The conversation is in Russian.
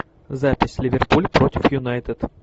запись ливерпуль против юнайтед